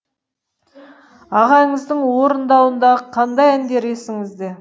ағаңыздың орындауындағы қандай әндер есіңізде